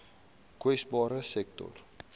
kwesbare sektore